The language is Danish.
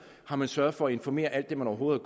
har man sørget for at informere alt det man overhovedet